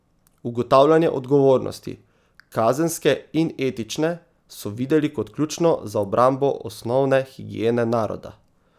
Ugotavljanje odgovornosti, kazenske in etične, so videli kot ključno za obrambo osnovne higiene naroda.